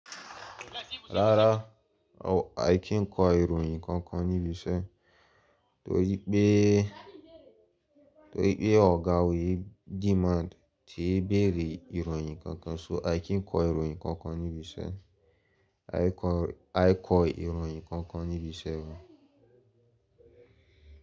Rárá, a kìí n kọ ìròyìn kankan níbi iṣẹ́, torí pé, torí pé ọ̀gá o'yi demand ti bẹ̀rẹ̀ ìròyìn kankan, so a kìí kọ ìròyìn kankan níbi iṣẹ́. A kọ, a kọ ìròyìn kankan níbi iṣẹ́ wa.